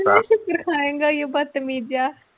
ਇੰਨੇ ਛਿੱਤਰ ਖਾਏਗਾ ਉਏ ਬਦਤਮੀਜ ਜਿਹਾ।